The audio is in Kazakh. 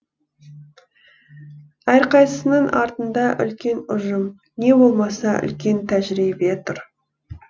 әрқайсысының артында үлкен ұжым не болмаса үлкен тәжірибе тұр